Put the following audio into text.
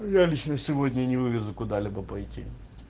я лично сегодня не вывезу куда-либо пойти